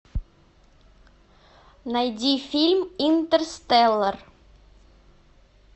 найди фильм интерстеллар